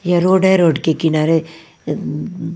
ये रोड है रोड के किनारे आ--